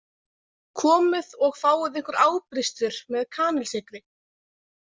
Komið og fáið ykkur ábrystir með kanilsykri